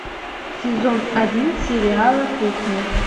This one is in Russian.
сезон один сериала кухня